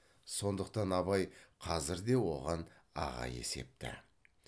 сондықтан абай қазір де оған аға есепті